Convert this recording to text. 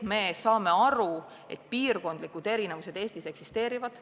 Me saame aru, et piirkondlikud erinevused Eestis eksisteerivad.